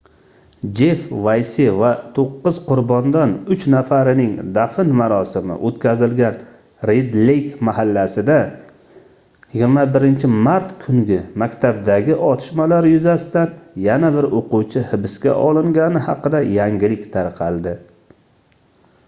jeff vayse va toʻqqiz qurbondan uch nafarining dafn marosimi oʻtkazilgan red leyk mahallasida 21-mart kungi maktabdagi otishmalar yuzasidan yana bir oʻquvchi hibsga olingani haqida yangilik tarqaldi